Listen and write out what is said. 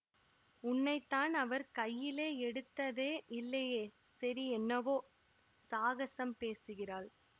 உன்னைத்தான் அவர் கையிலே எடுத்ததே இல்லையே சரி என்னவோ சாகசம் பேசுகிறாள்